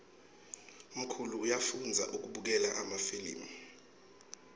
mkhulu uyafoudza kubukela emafilimu